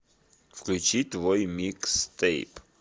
включить твой микстейп